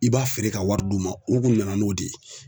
I b'a feere k'a wari d'u ma u kun nana n'o de ye.